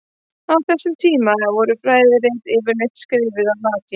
Á þessum tíma voru fræðirit yfirleitt skrifuð á latínu.